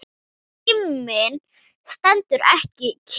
Tíminn stendur ekki kyrr.